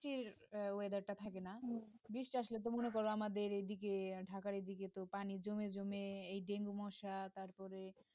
বৃষ্টি আসলে তো মনে কর আমাদের এদিকে ঢাকার এদিকে তো পানি জমে জমে এই dengue মশা তারপরে